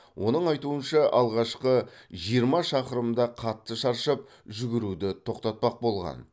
оның айтуынша алғашқы жиырма шақырымда қатты шаршап жүгіруді тоқтатпақ болған